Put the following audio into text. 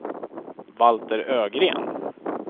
Valter Ögren